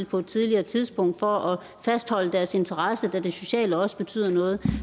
på et tidligere tidspunkt for at fastholde deres interesse da det sociale også betyder noget